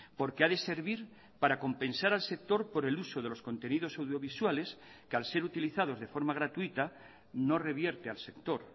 porque ha de servir para compensar al sector por el uso de los contenidos audiovisuales que al ser utilizados de forma gratuita no revierte al sector